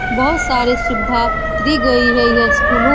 बहुत सारे सुविधा दी गई है ये स्कूलों --